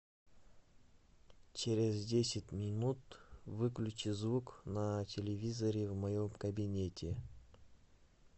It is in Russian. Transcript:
через десять минут выключи звук на телевизоре в моем кабинете